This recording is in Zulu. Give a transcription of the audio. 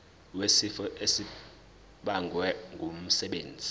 wesifo esibagwe ngumsebenzi